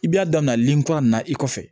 I b'a daminɛ lili kura nin na i kɔfɛ